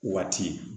Waati